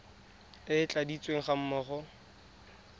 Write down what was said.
e e tladitsweng ga mmogo